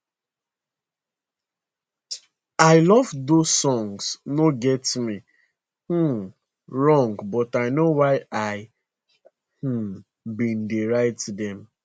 i love those songs no get me um wrong but i know why i um bin dey write dem